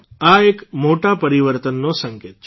આ એક મોટા પરિવર્તનનો સંકેત છે